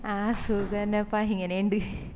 അഹ് സുഖന്നപ്പ ഇങ്ങനേണ്ട്